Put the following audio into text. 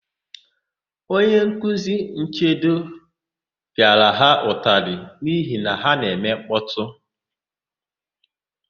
Onyenkuzi Nchedo pịara ha ụtalị n'ihi na ha na-eme nkpọtụ.